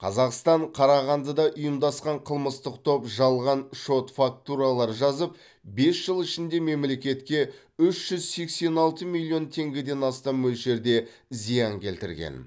қазақстан қарағандыда ұйымдасқан қылмыстық топ жалған шот фактуралар жазып бес жыл ішінде мемлекетке үш жүз сексен алты миллион теңгеден астам мөлшерде зиян келтірген